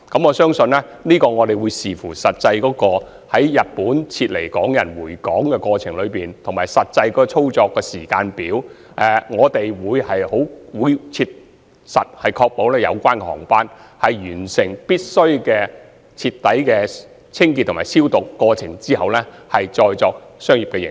我相信，這須視乎實際從日本撤離港人回港的過程及實際操作的時間表而定，但我們會切實確保有關的航機會在完成所需的徹底清潔及消毒後，才再作商業營運。